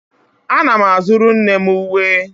Ana m azụrụ nne m uwe